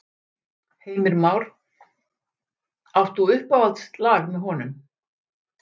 Heimir Már: Átt þú uppáhaldslag með honum?